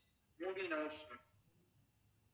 movies now